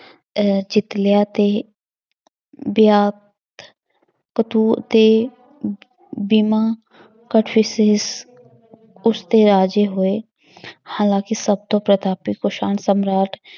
ਅਹ ਜਿੱਤ ਲਿਆ ਤੇ ਦੇ ਬੀਮਾ ਰਾਜੇ ਹੋਏ ਹਾਲਾਂਕਿ ਸਭ ਤੋਂ ਪ੍ਰਤਾਪੀ ਕੁਸ਼ਾਣ ਸਮਰਾਟ